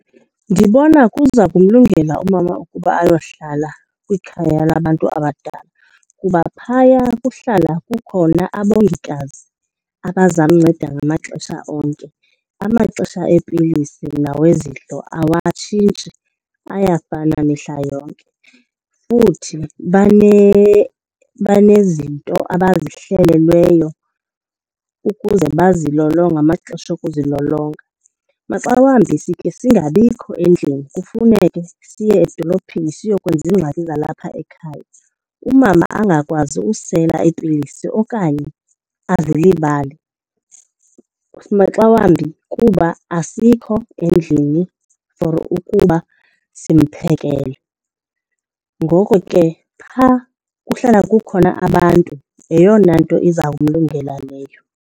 Ndibona kuza kumlungela umama ukuba ayohlala kwikhaya labantu abadala kuba phaya kuhlala kukhona abongikazi abazamnceda ngamaxesha onke. Amaxesha eepilisi nawezidlo awatshintshi ayafana mihla yonke. Futhi banezinto abazihlelelweyo ukuze bazilolonge ngamaxesha okuzilolonga. Maxa wambi sikhe singabikho endlini kufuneke siye edolophini siyokwenza iingxaki zalapha ekhaya, umama angakwazi usela iipilisi okanye azilibale. Maxa wambi kuba asikho endlini for ukuba simphekele, ngoko ke phaa kuhlala kukhona abantu yeyona nto iza kumalungela leyo.